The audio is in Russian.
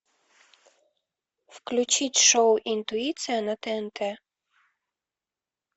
включить шоу интуиция на тнт